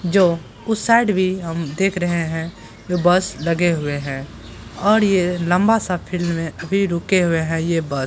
जो उस साइड भी हम देख रहे है ये बस लगे हुए हैं और ये लम्बा सा फील्ड में अभी रुके हुए है ये बस ।